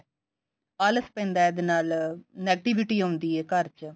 ਆਲਸ ਪੈਂਦਾ ਇਹਦੇ ਨਾਲ negativity ਆਉਂਦੀ ਹੈ ਘਰ ਚ